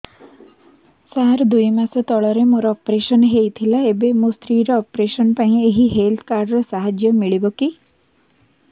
ସାର ଦୁଇ ମାସ ତଳରେ ମୋର ଅପେରସନ ହୈ ଥିଲା ଏବେ ମୋ ସ୍ତ୍ରୀ ର ଅପେରସନ ପାଇଁ ଏହି ହେଲ୍ଥ କାର୍ଡ ର ସାହାଯ୍ୟ ମିଳିବ କି